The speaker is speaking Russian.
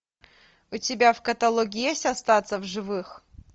у тебя в каталоге есть остаться в живых